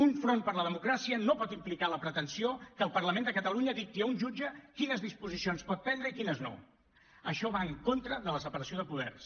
un front per la democràcia no pot implicar la pretensió que el parlament de catalunya dicti a un jutge quines disposicions pot prendre i quines no això va en contra de la separació de poders